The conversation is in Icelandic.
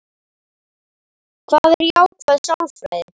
Hvað er jákvæð sálfræði?